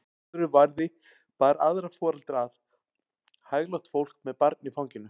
Áður en varði bar aðra foreldra að, hæglátt fólk með barn í fanginu.